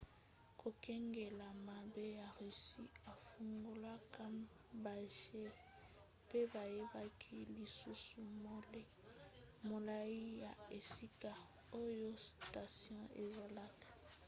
kokengela mabe ya russie efungolaka bajets pe bayebaki lisusu molai ya esika oyo station ezalaka